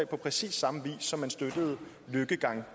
på præcis samme vis som man støttede den